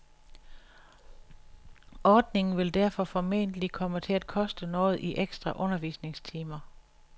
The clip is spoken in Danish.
Ordningen vil derfor formentlig komme til at koste noget i ekstra undervisningstimer.